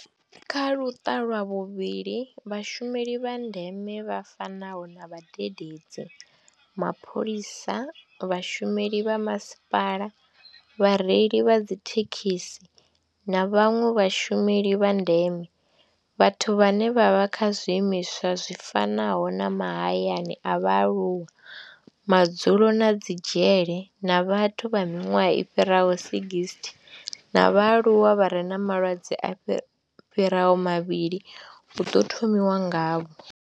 Kha Luṱa lwa vhuvhili, Vhashumeli vha ndeme vha fanaho na vhadededzi, mapholisa, vhashumeli vha masipala, vhareili vha dzithekhisi na vhanwe vhashumeli vha ndeme, vhathu vhane vha vha kha zwiimiswa zwi fanaho na mahayani a vhaaluwa, madzulo na dzi dzhele, na vhathu vha miṅwaha i fhiraho 60 na vhaaluwa vha re na malwadze a fhiraho mavhili hu ḓo thomiwa ngavho.